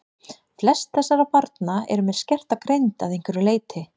Flest þessara barna eru með skerta greind að einhverju leyti.